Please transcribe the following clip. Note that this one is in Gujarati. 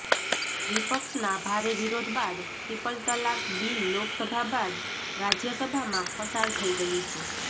વિપક્ષના ભારે વિરોધ બાદ ટ્રિપલ તલાક બિલ લોકસભા બાદ રાજ્ય સભામાં પસાર થઇ ગયું છે